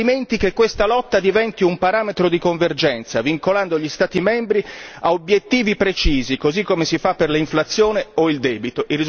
Altrimenti, che questa lotta diventi un parametro di convergenza, vincolando gli Stati membri ad obiettivi precisi così come si fa per l'inflazione o il debito.